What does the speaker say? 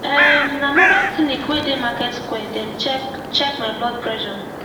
erm na mobile clinic wey dey market square dem check check my blood pressure